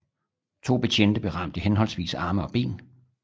To betjente blev ramt i henholdsvis arme og ben